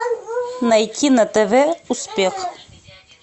найти на тв успех